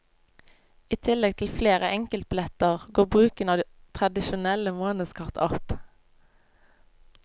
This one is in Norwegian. I tillegg til flere enkeltbilletter, går bruken av tradisjonelle månedskort opp.